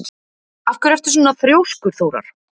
Af hverju ertu svona þrjóskur, Þórar?